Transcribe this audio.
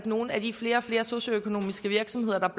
nogle af de flere og flere socioøkonomiske virksomheder der